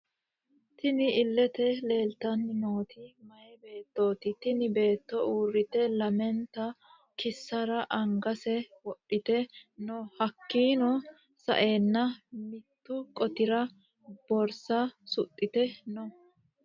Tinni illete leelitanni nooti miyaa beettoti tinni Beetto uurite lamenta kiiserra angase wodhite no hakiino sa'eena mittu qotirra borisa suxite no.